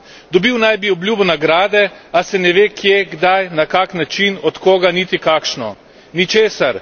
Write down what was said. Dobil naj bi obljubo nagrade, a se ne ve, kje, kdaj, na kak način, od koga, niti kakšno ničesar.